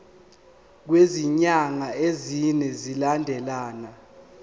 kwezinyanga ezine zilandelana